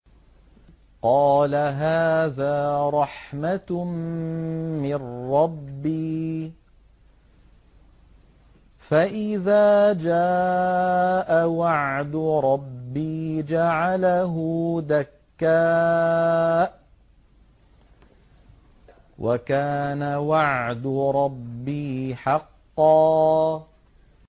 قَالَ هَٰذَا رَحْمَةٌ مِّن رَّبِّي ۖ فَإِذَا جَاءَ وَعْدُ رَبِّي جَعَلَهُ دَكَّاءَ ۖ وَكَانَ وَعْدُ رَبِّي حَقًّا